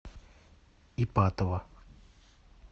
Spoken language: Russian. ипатово